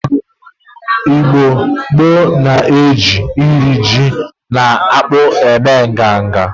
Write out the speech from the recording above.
Igbo gboo na-eji nri ji na akpu eme nganga.